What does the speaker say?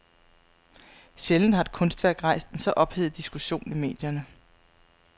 Sjældent har et kunstværk rejst en så ophedet diskussion i medierne.